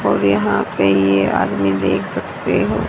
और यहां पे ये आदमी देख सकते हो।